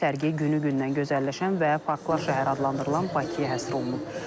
Sərgi günü-gündən gözəlləşən və parklar şəhəri adlandırılan Bakıya həsr olunub.